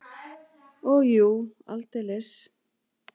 Og jú, aldeilis!